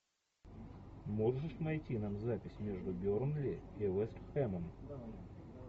можешь найти нам запись между бернли и вест хэмом